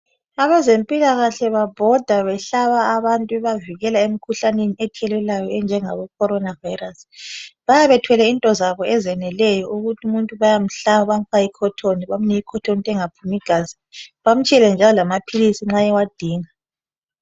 Abezempilakahle babhoda behlaba abantu bebavikela emkhuhlaneni ethelelwanayo enjenge corona virus. Bayabe bethwele into zabo ezeneleyo ukuthi umuntu bayamhlaba bafake icotton, bamnike icotton ukuthi engaphumi gazi. Bamtshiyele njalo lamaphilisi nxa ewadinga.